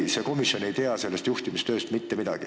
Vahest see komisjon ei tea konkreetsest juhtimistööst mitte midagi.